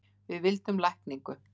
Við vildum lækningu.